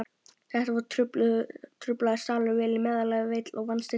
Þetta var truflaður salur, vel í meðallagi veill og vanstilltur.